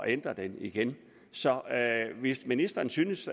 ændre det igen så hvis ministeren synes